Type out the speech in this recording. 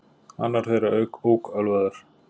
Annar þeirra ók ölvaður